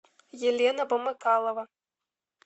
елена помыкалова